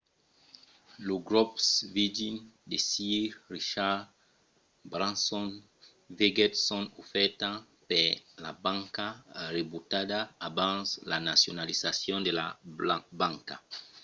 lo grop virgin de sir richard branson vegèt son ofèrta per la banca rebutada abans la nacionalizacion de la banca